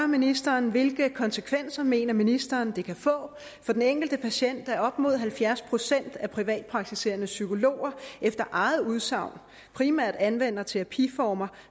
ministeren hvilke konsekvenser mener ministeren det kan få for den enkelte patient at op mod halvfjerds procent af de privatpraktiserende psykologer efter eget udsagn primært anvender terapiformer